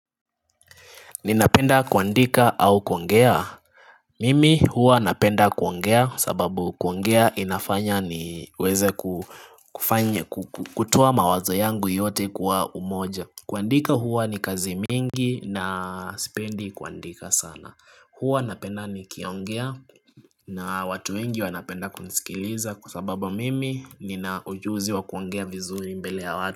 Ninapenda kuandika au kuongea? Mimi huwa napenda kuongea sababu kuongea inafanya niweze kutoa mawazo yangu yote kuwa umoja kuandika huwa ni kazi mingi na sipendi kuandika sana huwa napenda nikiongea na watu wengi wanapenda kunisikiliza kwasababu mimi nina ujuzi wa kuongea vizuri mbele ya watu.